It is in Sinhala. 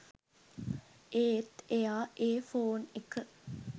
ඒත් එයා ඒ ෆෝන් එක